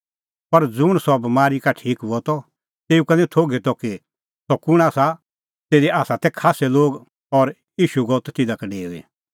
पर ज़ुंण सह बमारी का ठीक हुअ त तेऊ का निं थोघै त कि सह कुंण आसा तिधी तै खास्सै लोग और ईशू गअ त तिधा का डेऊई